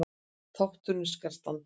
Þátturinn skal standa